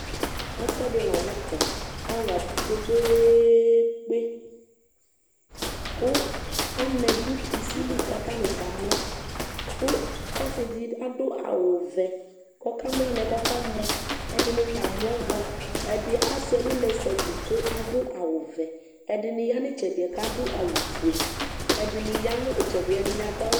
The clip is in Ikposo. ɛfu ɛdi lanu tɛ alu abʋ kpekpeekpeku anɛ du kusi li ku atani kamlɔ ku ɔsi di aɖʋ awʋ vɛku ɔka mlɔ anɛ ku ɔkamɔ ɛdini ta amlɔ bua ɛdi asɛ ɛlu lɛ sabuu ku adu awu vɛ ɛdini yanu itsɛdi ku adu awu ofue ɛdini yanu itsɛdi ɛdini